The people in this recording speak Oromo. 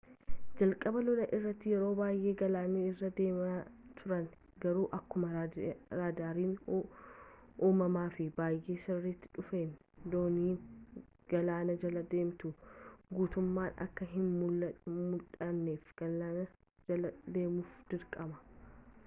jalqaba lolaa irratti yeroo baayyee galaana irra deemaa turan garuu akkuma raadaariin uumamaa fi bayyee sirrataa dhufeen dooniin galaana jala deemtu guttumman akka hin muldhanneef gaalaana jala deemuuf dirqaman